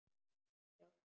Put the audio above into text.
Hjá þeim.